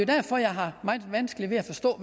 derfor jeg har meget vanskeligt ved at forstå